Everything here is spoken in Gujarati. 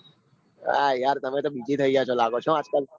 આ યાર તમે તો થઇ ગયા લાગો છો. આજકાલ